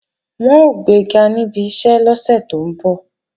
Wọn ó gbega níbi iṣẹ́ lọ́sẹ̀ tó ń bọ̀